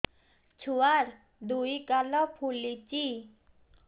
ଛୁଆର୍ ଦୁଇ ଗାଲ ଫୁଲିଚି